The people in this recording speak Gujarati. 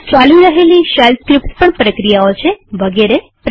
ચાલી રહેલી શેલ સ્ક્રીપ્ટ્સ પ્રક્રિયાઓ છે વગેરે વગેરે